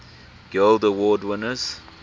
guild award winners